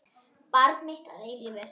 Barn mitt að eilífu.